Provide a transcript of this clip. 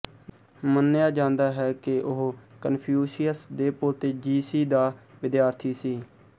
ਮੰਨਿਆ ਜਾਂਦਾ ਹੈ ਕਿ ਉਹ ਕਨਫ਼ਿਊਸ਼ੀਅਸ ਦੇ ਪੋਤੇ ਜ਼ੀਸੀ ਦਾ ਵਿਦਿਆਰਥੀ ਸੀ